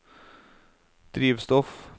drivstoff